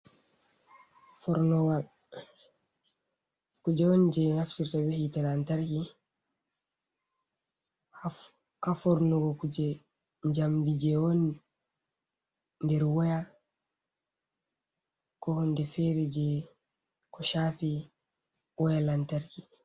Forlowal kuje on je ɓe naftirta be’hitte lantarki ha fornugo kuje jamdi, je woni nder waya ko ha hunde fere je ko shafi waya lantarki.